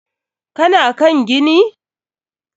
Ka na kan gini?